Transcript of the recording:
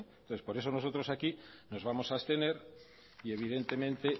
entonces por eso nosotros aquí nos vamos a abstener y evidentemente